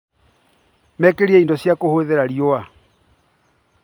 Makĩrire indo cia kũhũthĩra riũa